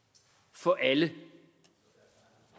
for alle